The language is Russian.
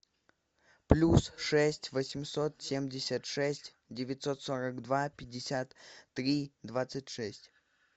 плюс шесть восемьсот семьдесят шесть девятьсот сорок два пятьдесят три двадцать шесть